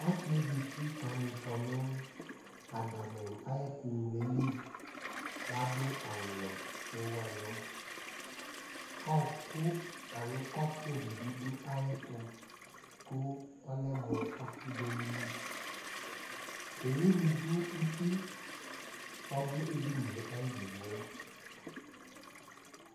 ɔsɩyɛ zatɩ kamɩfɔ nʊ admʊ ayʊ ɛkʊŋlolɩ adʊ awʊwɛ kʊ ewʊ ɛlʊ kɔpʊdɩbɩ dʊ ayʊɛtʊ kʊ ɔlɛmʊ ɔfi dʊ ayɩlɩ kʊ owʊnɩ dʊ ʊtɩ kʊ ɔdʊ edɩnɩye ayidɩgbo